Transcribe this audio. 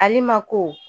Ale ma ko